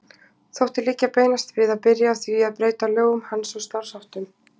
Þótti liggja beinast við að byrja á því að breyta lögum hans og starfsháttum.